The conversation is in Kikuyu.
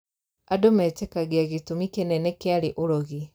Andũ metĩkagia gĩtumi kĩnene kĩarĩ ũrogi